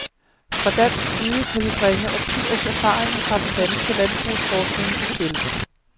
Fra dansk side kan vi bringe årtiers erfaring fra den danske landbrugsforskning i spil.